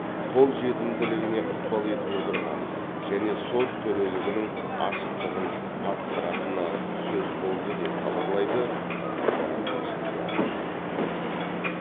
қол жетімділігіне ықпал етіп отырғаны және сот төрелігінің ашықтығын арттыратыны сөз болды деп хабарлайды қазақпарат тілшісі